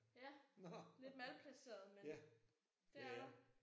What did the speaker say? Ja. Lidt malplaceret men det er der